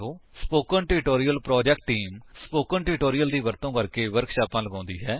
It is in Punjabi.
spoken tutorial project team spoken tutorial ਦੀ ਵਰਤੋ ਕਰਕੇ ਵਰਕਸ਼ਾਪਾਂ ਲਗਾਉਂਦੀ ਹਨ